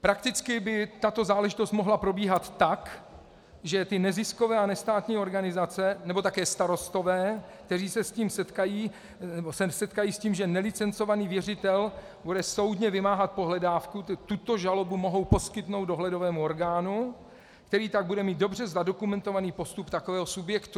Prakticky by tato záležitost mohla probíhat tak, že ty neziskové a nestátní organizace nebo také starostové, kteří se setkají s tím, že nelicencovaný věřitel bude soudně vymáhat pohledávku, tuto žalobu mohou poskytnout dohledovému orgánu, který tak bude mít dobře zadokumentovaný postup takového subjektu.